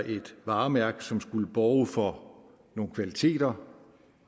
et varemærke som skulle borge for nogle kvaliteter